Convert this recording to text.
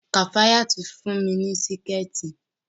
Kafayat fún mi ní Síkẹ̀tí